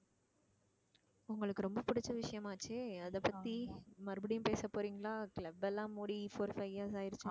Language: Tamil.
உங்களுக்கு ரொம்ப பிடிச்ச விஷயம் ஆச்சே அத பத்தி மறுபடியும் பேச போறீங்களா club எல்லாம் மூடி four five years ஆயிருச்சுன்னு